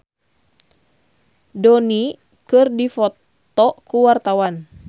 Bayu Octara jeung Robert Downey keur dipoto ku wartawan